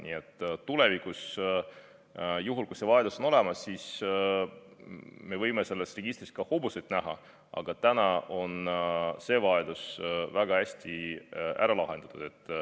Nii et tulevikus, juhul kui see vajadus on olemas, me võime selles registris ka hobuseid näha, aga täna on see vajadus väga hästi ära lahendatud.